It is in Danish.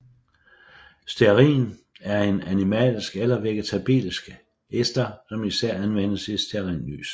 Stearin er en animalsk eller vegetabilsk ester som især anvendes i stearinlys